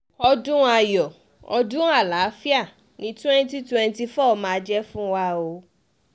ọdún ayọ̀ ọdún àlàáfíà ni 2024 máa jẹ́ fún wa o